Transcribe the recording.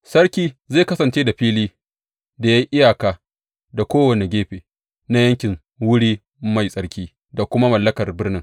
Sarki zai kasance da fili da ya yi iyaka da kowane gefe na yankin wuri mai tsarki da kuma mallakar birnin.